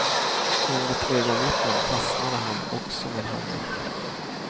Enligt ögonvittnen fastnade han också med handen.